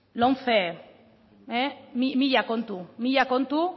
lomce mila kontu mila kontu